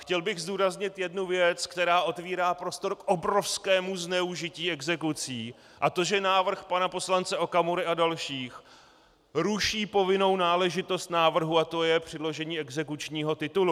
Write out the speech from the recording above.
Chtěl bych zdůraznit jednu věc, která otevírá prostor k obrovskému zneužití exekucí, a to že návrh pana poslance Okamury a dalších ruší povinnou náležitost návrhu, a to je předložení exekučního titulu.